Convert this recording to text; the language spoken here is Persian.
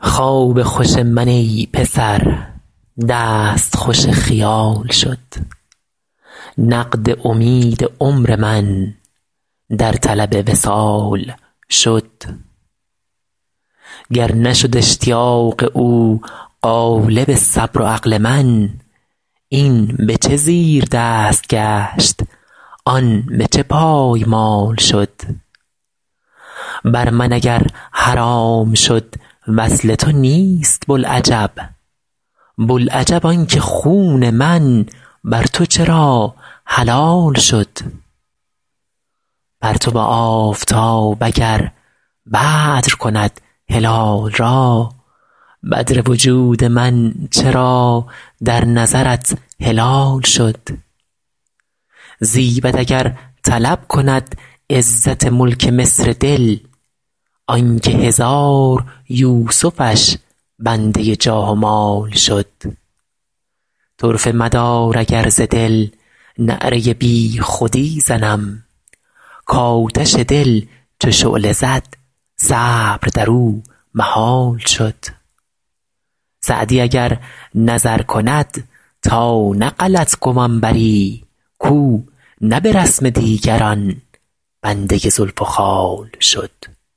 خواب خوش من ای پسر دست خوش خیال شد نقد امید عمر من در طلب وصال شد گر نشد اشتیاق او غالب صبر و عقل من این به چه زیردست گشت آن به چه پایمال شد بر من اگر حرام شد وصل تو نیست بوالعجب بوالعجب آن که خون من بر تو چرا حلال شد پرتو آفتاب اگر بدر کند هلال را بدر وجود من چرا در نظرت هلال شد زیبد اگر طلب کند عزت ملک مصر دل آن که هزار یوسفش بنده جاه و مال شد طرفه مدار اگر ز دل نعره بی خودی زنم کآتش دل چو شعله زد صبر در او محال شد سعدی اگر نظر کند تا نه غلط گمان بری کاو نه به رسم دیگران بنده زلف و خال شد